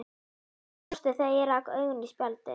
Hann brosti þegar ég rak augun í spjaldið.